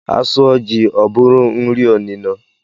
A sụọ jị, ọ bụrụ nri onino